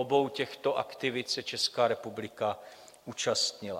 Obou těchto aktivit se Česká republika účastnila.